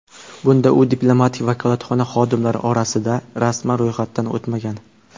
Bunda u diplomatik vakolatxona xodimlari orasida rasman ro‘yxatdan o‘tmagan.